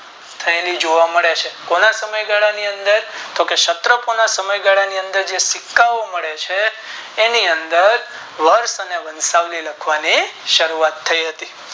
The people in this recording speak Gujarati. થયેલું જોવા મળે છે ઘણા સમયગાલા ની અંદર તો કે ક્ષતરોના સમય ગાલ ની અંદર જે સિક્કા ઓ મળે છે એની અંદર વર્ષ અને વશવાળી લખવાની ચાલુ થાય હતી.